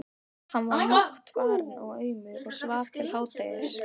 Hann var máttfarinn og aumur og svaf til hádegis.